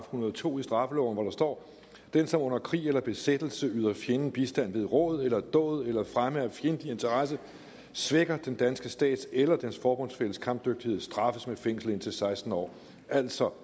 hundrede og to i straffeloven hvor der står den som under krig eller besættelse yder fjenden bistand ved råd eller dåd eller til fremme af fjendtlig interesse svækker den danske stats eller dens forbundsfælles kampdygtighed straffes med fængsel indtil seksten år altså